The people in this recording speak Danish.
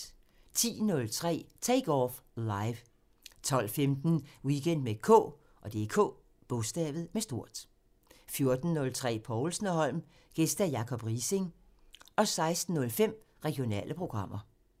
10:03: Take Off Live 12:15: Weekend med K 14:03: Povlsen & Holm: Gæst Jacob Riising 16:05: Regionale programmer